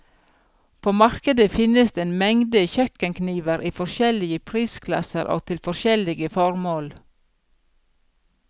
På markedet finnes en mengde kjøkkenkniver i forskjellige prisklasser og til forskjellige formål.